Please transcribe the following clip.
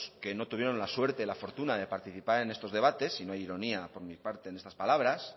que no tuvieron la suerte la fortuna de participar en estos debates si no hay ironía por mi parte en estas palabras